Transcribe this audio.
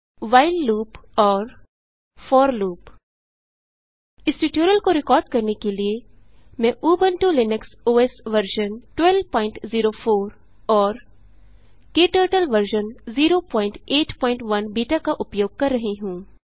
while loop और for loop इस tutorial को रिकॉर्ड करने के लिए मैं उबंटु लिनक्स ओएस वर्ज़न 1204 और क्टर्टल वर्ज़न 081 बीटा का उपयोग कर रही हूँ